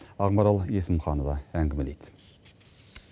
ақмарал есімханова әңгімелейді